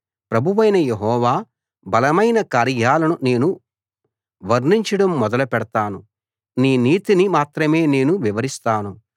ప్రభువైన యెహోవా బలమైన కార్యాలను నేను వర్ణించడం మొదలు పెడతాను నీ నీతిని మాత్రమే నేను వివరిస్తాను